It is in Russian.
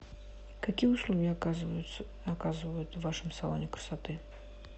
какие услуги оказывают в вашем салоне красоты